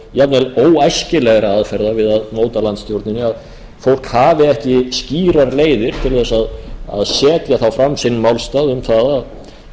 jafnvel óæskilegra aðferða við að móta landsstjórnina að fólk hafi ekki skýrar leiðir til þess að setja þá fram sinn málstað um það að